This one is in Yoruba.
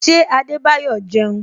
Ṣé Adebayo jẹun?